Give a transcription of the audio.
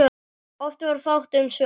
Oft var fátt um svör.